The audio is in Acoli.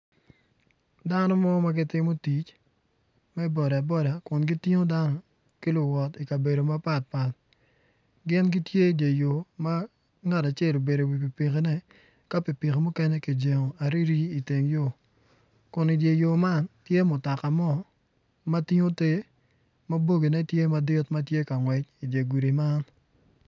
Dano mo ma gitimo tic me boda kun gitingo dano ki luwot i kabedo mapat pat gin gitye jo yo ma ma ngat acel obedo iwi pikipikine ka pikipiki mukene ki jengo iteng yo kun i dyer yo man tye mutoka mo ma tingo ter ma boggine tye ma tye ka ngwec idye gudi man